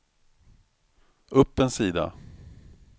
upp en sida